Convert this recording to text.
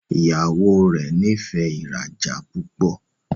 Ìyàwó rẹ n'ifẹ ìrajà púpọ.